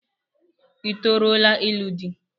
I toruola ilu di?